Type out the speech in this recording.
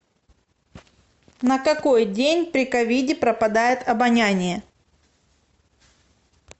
на какой день при ковиде пропадает обоняние